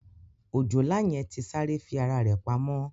Òjòlá yẹn ti sáré fi ara rẹ̀ pamọ́